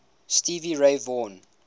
stevie ray vaughan